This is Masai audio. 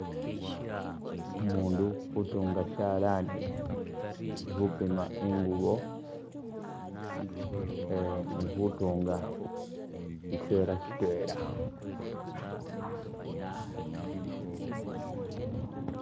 Umundu utuunga shalaani, alikhupima ingubo eee ni khutuunga shiseela shitwela